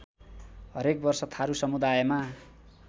हरेक वर्ष थारु समुदायमा